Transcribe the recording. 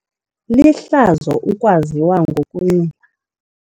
Lihlazo ukwaziwa ngokunxila.